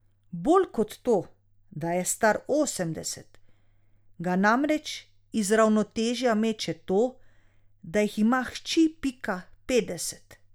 Bolj kot to, da je star osemdeset, ga namreč iz ravnotežja meče to, da jih ima hči Pika petdeset.